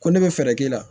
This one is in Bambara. Ko ne bɛ fɛɛrɛ k'i la